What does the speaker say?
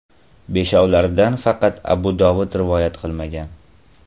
Beshovlaridan faqat Abu Dovud rivoyat qilmagan.